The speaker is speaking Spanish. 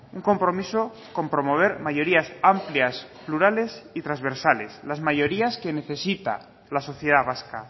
un compromiso con promover mayorías amplias plurales y transversales las mayorías que necesita la sociedad vasca